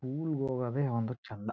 School ಹೋಗೋದೇ ಒಂದ ಚಂದ.